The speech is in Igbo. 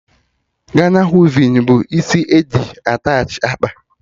Gana wivin bụ isi eji attachị akpa